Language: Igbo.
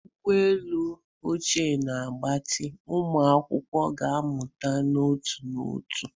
Uwe elu ọcha na agbatị, ụmụ akwụkwọ ga-amụta n'otu n'otu.